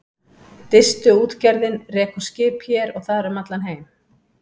Distuútgerðin rekur skip hér og þar um allan heim.